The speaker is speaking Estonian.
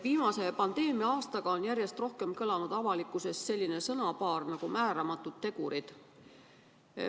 Viimase pandeemia-aastaga on järjest rohkem kõlanud avalikkuses selline sõnapaar nagu "määramatud tegurid".